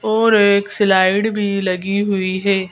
और एक स्लाइड भी लगी हुई है।